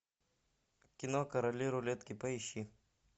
кино короли рулетки поищи